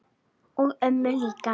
og ömmu líka.